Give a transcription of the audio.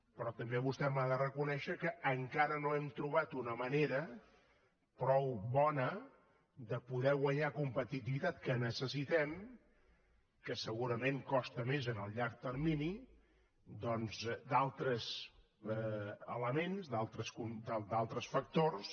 però també vostè m’ha de reconèixer que encara no hem trobat una manera prou bona de poder guanyar competitivitat que en necessitem que segurament costa més en el llarg termini doncs d’altres elements d’altres factors